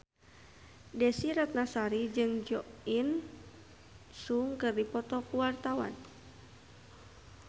Desy Ratnasari jeung Jo In Sung keur dipoto ku wartawan